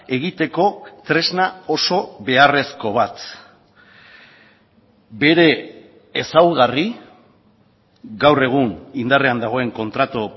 egiteko tresna oso beharrezko bat bere ezaugarri gaur egun indarrean dagoen kontratu